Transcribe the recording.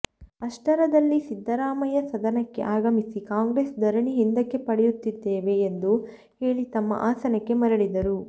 ಅಷ್ಟರದಲ್ಲಿ ಸಿದ್ದರಾಮಯ್ಯ ಸದನಕ್ಕೆ ಆಗಮಿಸಿ ಕಾಂಗ್ರೆಸ್ ಧರಣಿ ಹಿಂದಕ್ಕೆ ಪಡೆಯುತ್ತಿದ್ದೇವೆ ಎಂದು ಹೇಳಿ ತಮ್ಮ ಆಸನಕ್ಕೆ ಮರಳಿದರು